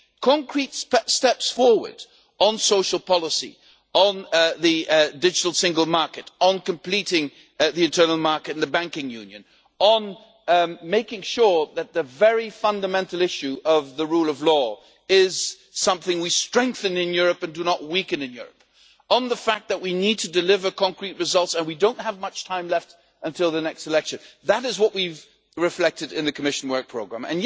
Concrete steps forward on social policy, on the digital single market, on completing the internal market and the banking union, on making sure that the very fundamental issue of the rule of law is something we strengthen in Europe and do not weaken in Europe, and on the fact that we need to deliver concrete results and we do not have much time left until the next election that is what we have reflected in the Commission Work Programme.